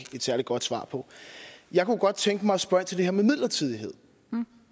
et særlig godt svar på jeg kunne godt tænke mig at spørge ind til det her med midlertidighed vi